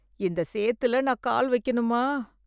இந்த சேத்துல நான் கால் வைக்கணுமா!